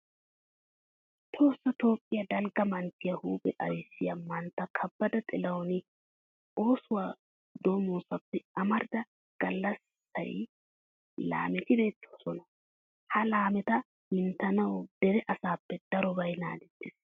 Tohossa toophphiya dalgga manttiya huuphe ayssiya mantta kabbada xilahuni oosuwa doommoosappe amarida galatissiya laameti beettidosona. Ha laameta minttanawu dere asaappe darobay naagettees.